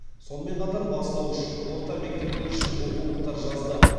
сонымен қатар бастауыш орта мектептер үшін оқулықтар жазды